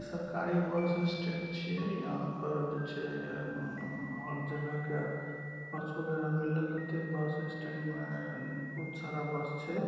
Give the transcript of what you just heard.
सरकारी bus stand छै। यहाँ पर जे छै ऊ हर जगह के बस वगैरा मिलल होते। बस स्टैंड में बहुत सारा बस छै।--